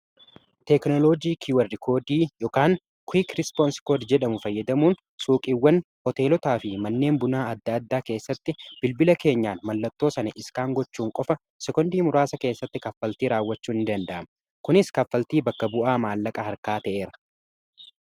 Teeknoloojii kiiwarrikoodii yookiin kiwuk rispoons koodi jedhamu fayyadamuun suuqiiwwan, hoteelotaa fi manneen bunaa adda addaa keessatti bilbila keenyaa mallattoo sani iskaan gochuun qofa sekoondii muraasa keessatti kaffaltii raawwachuu in danda'ama. kunis kaffaltii bakka bu'aa maallaqa harkaa ta'eeray.